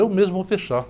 Eu mesmo vou fechar.